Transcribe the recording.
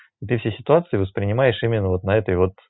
если ситуация воспринимаешь именно вот на этой вот